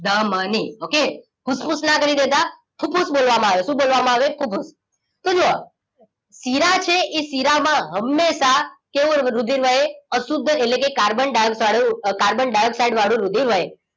the મ ની okay ફૂફૂસ ના આગલી બે દાત ફૂફૂસ બોલવામાં આવે શું બોલ વામાં આવે ફૂફૂસ તો જોવો શીરા છે એ શીરા માં હમેશા કેવું રુધિર વહે અશુદ્ધ એટલે કે કાર્બન ડાઇઓક્સાઇડ વાળું કાર્બન ડાઇઓક્સાઇડ વાળું રુધિર વહે